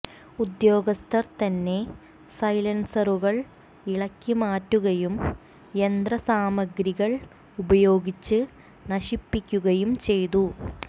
ഉദ്യോഗസ്ഥർ തന്നെ സൈലൻസറുകൾ ഇളക്കി മാറ്റുകയും യന്ത്രസാമഗ്രികൾ ഉപയോഗിച്ച് നശിപ്പിക്കുകയും ചെയ്തു